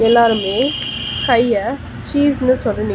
எல்லாருமே கைய சீஸ்னு சொல்லி நிக் --